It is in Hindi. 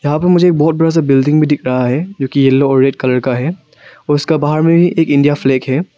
यहां पर मुझे एक बहुत बड़ा सा बिल्डिंग भी दिख रहा है जो की येलो और रेड कलर का है और उसका बाहर में एक इंडिया फ्लैग है।